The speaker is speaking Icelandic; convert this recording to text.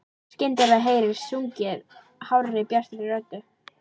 Skyndilega heyrist sungið hárri, bjartri röddu.